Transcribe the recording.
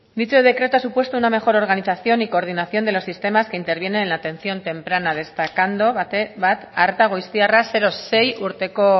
dicho decreto ha supuesto una mejor organización y coordinación de los sistemas que intervienen en la atención temprana destacando bat arreta goiztiarra zero sei urteko